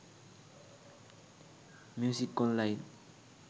music online